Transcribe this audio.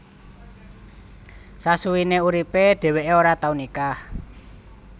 Sasuwene uripe dheweke ora tau nikah